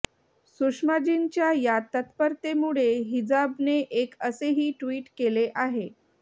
सुषमाजींच्या या तत्परतेमुळे हिजाबने एक असेही ट्विट केले आहे